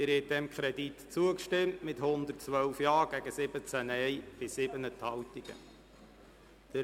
Sie haben diesem Kredit mit 112 Ja- zu 17 Nein-Stimmen bei 7 Enthaltungen zugestimmt.